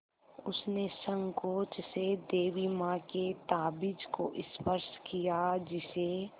उसने सँकोच से देवी माँ के ताबीज़ को स्पर्श किया जिसे